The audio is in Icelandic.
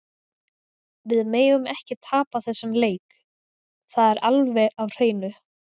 Við megum ekki tapa þessum leik, það er alveg á hreinu.